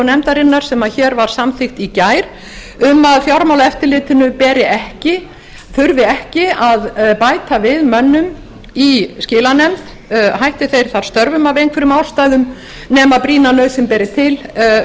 nefndarinnar sem hér var samþykkt í gær um að fjármálaeftirlitið þurfi ekki að bæta við mönnum í skilanefnd hætti þeir þá störfum af einhverjum ástæðum nema brýna nauðsyn beri til